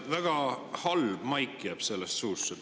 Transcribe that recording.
Väga halb maik jääb sellest suhu.